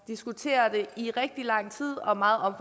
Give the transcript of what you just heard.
diskutere det i rigtig lang tid og meget